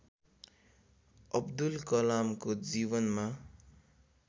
अब्दुल कलामको जीवनमा